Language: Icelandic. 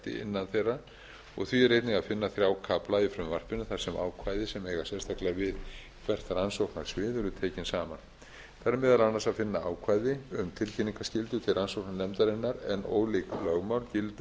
innan þeirra og því er einnig að finna þrjá kafla í frumvarpinu þar sem ákvæði sem eiga sérstaklega við hvert rannsóknarsvið eru tekin saman þar er meðal annars að finna ákvæði um tilkynningarskyldu til rannsóknarnefndarinnar en ólík lögmál gilda um